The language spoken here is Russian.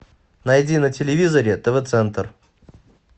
найди на телевизоре тв центр